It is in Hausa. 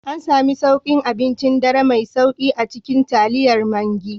An sami sauƙin abincin dare mai sauri a cikin taliyar Maggi